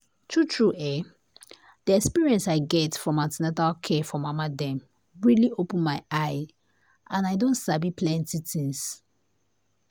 true true[um]the experience i get from an ten atal care for mama dem really open my eye and i don sabi plenty things.